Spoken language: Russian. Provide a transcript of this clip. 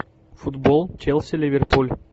футбол челси ливерпуль